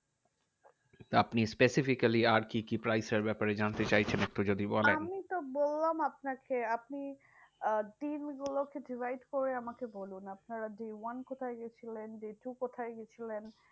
আপনি specifically আর কি কি price এর ব্যাপারে জানতে চাইছেন? একটু যদি বলেন? আমিতো বললাম আপনাকে আপনি আহ দিনগুলোকে divide করে আমাকে বলুন। আপনারা day one কোথায় গেছিলেন? day two কোথায় গেছিলেন?